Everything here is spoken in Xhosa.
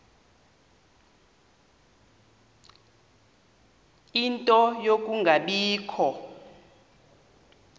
ie nto yokungabikho